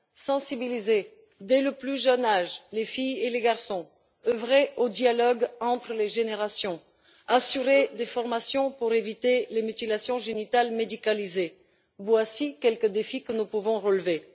Sensibiliser, dès le plus jeune âge, les filles et les garçons, œuvrer au dialogue entre les générations, assurer des formations pour éviter les mutilations génitales médicalisées, voici quelques uns des défis que nous pouvons relever.